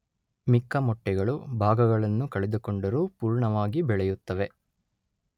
ಮಿಕ್ಕ ಮೊಟ್ಟೆಗಳು ಭಾಗಗಳನ್ನು ಕಳೆದುಕೊಂಡರೂ ಪೂರ್ಣವಾಗಿ ಬೆಳೆಯುತ್ತವೆ.